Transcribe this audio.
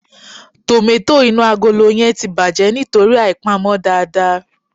Tòmátò inú agolo yẹn ti bàjẹ́ nítorí àìpamọ́ dáadáa.